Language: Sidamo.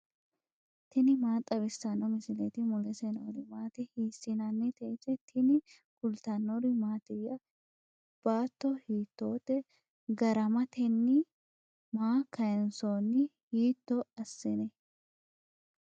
tini maa xawissanno misileeti ? mulese noori maati ? hiissinannite ise ? tini kultannori mattiya? baatto hiittotte? garametenni? maa kayiinsoonni? hiitto asinne?